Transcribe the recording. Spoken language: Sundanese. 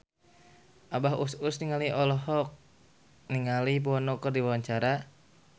Abah Us Us olohok ningali Bono keur diwawancara